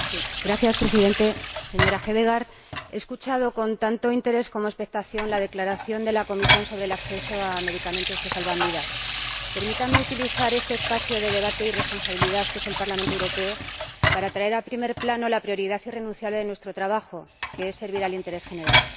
Señor Presidente, Señora Hedegaard, he escuchado con tanto interés como expectación la declaración de la Comisión sobre el acceso a medicamentos que salvan vidas. Permítanme utilizar este espacio de debate y responsabilidad que es el Parlamento Europeo para traer a primer plano la prioridad irrenunciable de nuestro trabajo, que es servir al interés general.